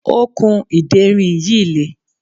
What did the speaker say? okùn ìderin yìí le